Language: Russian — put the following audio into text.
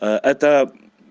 это